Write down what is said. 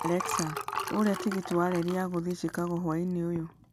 Alexa ũria tigiti wa reri ya gũthiĩ Chicago hwaĩinĩ ũyũ